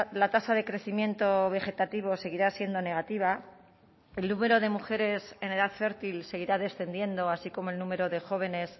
la tasa de crecimiento vegetativo seguirá siendo negativa el número de mujeres en edad fértil seguirá descendiendo así como el número de jóvenes